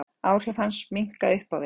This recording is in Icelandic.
Áhrif hans minnka upp á við.